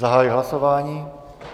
Zahajuji hlasování.